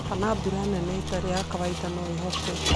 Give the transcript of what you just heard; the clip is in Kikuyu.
kana mbura nene ĩtarĩ ya kawaida, no ĩhote